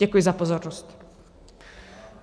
Děkuji za pozornost.